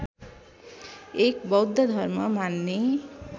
एक बौद्ध धर्म मान्ने